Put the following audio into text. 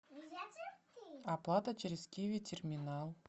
оплата через киви терминал